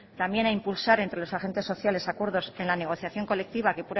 también a impulsar entre los agentes sociales acuerdos en la negociación colectiva que